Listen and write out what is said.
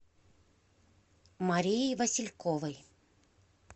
марии васильковой